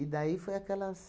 daí foi aquelas...